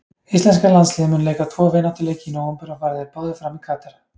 Íslenska landsliðið mun leika tvo vináttuleiki í nóvember og fara þeir báðir fram í Katar.